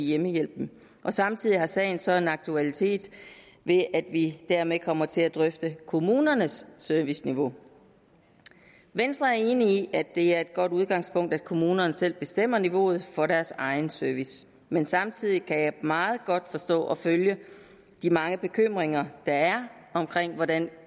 hjemmehjælpen samtidig har sagen så aktualitet ved at vi dermed kommer til at drøfte kommunernes serviceniveau venstre er enig i at det er et godt udgangspunkt at kommunerne selv bestemmer niveauet for deres egen service men samtidig kan jeg meget godt forstå og følge de mange bekymringer der er om hvordan